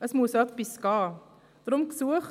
Es muss etwas geschehen.